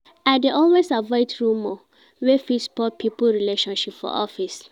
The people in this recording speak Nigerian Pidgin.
I dey always avoid rumor wey fit spoil pipo relationship for office.